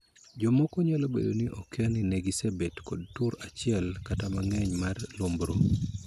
Jomoko nyalo bedo ni okia ni ne gisebet kod tur achiel kata mang'eny mag lumbru.